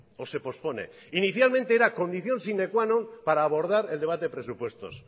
o se pospone inicialmente erá condición sine qua non para abordar el debate presupuestos